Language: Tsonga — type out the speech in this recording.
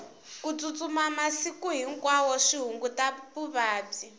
ku tsutsuma masiku hinkwawo swi hunguta vuvabyi